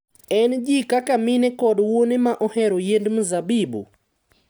En ji kaka mine koda wuone ma ohero yiend mzabibu